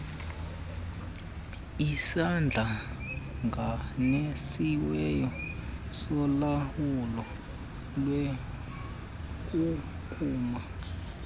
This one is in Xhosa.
esihlanganisiweyo solawulo lwenkunkuma